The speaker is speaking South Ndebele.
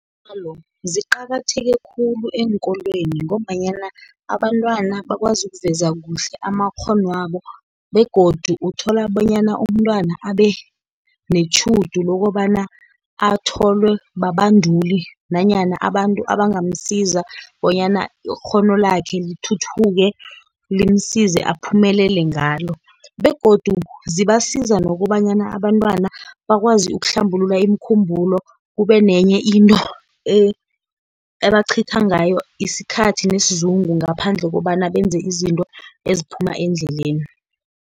Dlalo ziqakatheke khulu eenkolweni, ngombanyana abantwana bakwazi ukuveza kuhle amakghono wabo, begodu uthola bonyana umntwana abe netjhudu lokobana atholwe babanduli nanyana abantu abangamsiza bonyana ikghono lakhe lithuthuke, limsize aphumelele ngalo, begodu zibasiza nokobanyana abantwana bakwazi ukuhlambulula imikhumbulo, kube nenye into ebacitha ngayo isikhathi, nesizungu ngaphandle kobana benze izinto eziphuma endleleni.